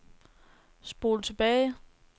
spol tilbage